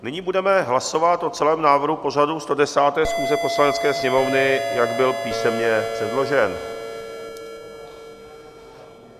Nyní budeme hlasovat o celém návrhu pořadu 110. schůze Poslanecké sněmovny, jak byl písemně předložen.